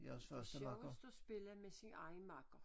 Det sjovest at spille med sin egen makker